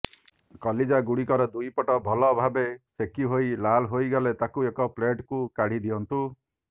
କଲିଜା ଗୁଡ଼ିକର ଦୁଇପଟ ଭଲ ଭାବେ ସେକି ହୋଇ ଲାଲ୍ ହୋଇଗଲେ ତାହାକୁ ଏକ ପ୍ଲେଟ୍କୁ କାଢ଼ି ଦିଅନ୍ତୁ